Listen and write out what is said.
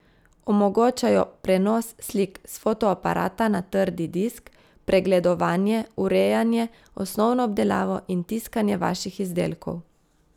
Omogočajo prenos slik s fotoaparata na trdi disk, pregledovanje, urejanje, osnovno obdelavo in tiskanje vaših izdelkov.